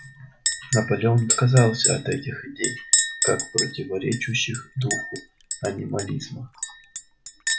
наполеон отказался от этих идей как противоречащих духу анимализма